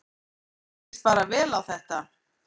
Mér líst bara vel á þetta